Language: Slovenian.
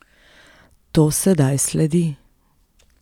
To sedaj sledi ...